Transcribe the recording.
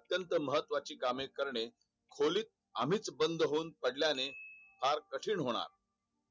अंत्यत महत्तवाची कामे करणे खोलीत आम्हीच बंद होऊन पडल्याने फार कठीण होणार